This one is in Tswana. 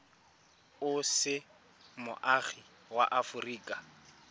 o se moagi wa aforika